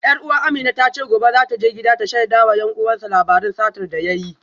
Yar uwa Amina ta ce gobe za ta je gida ta shaida wa 'yan uwansu labarin satar da ya yi